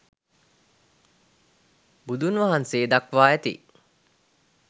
බුදුන් වහන්සේ දක්වා ඇති